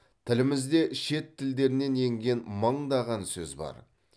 тілімізде шет тілдерінен енген мыңдаған сөз бар